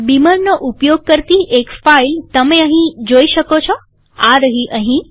બીમરનો ઉપયોગ કરતી એક ફાઈલ તમે અહીં જોઈ શકો છોઆ રહી અહીં